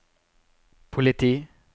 politi